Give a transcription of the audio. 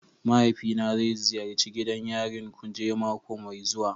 Mahaifina zai ziyarci gidan yarin kuje mako mai zuwa.